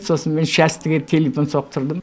сосын мен частіге телефон соқтырдым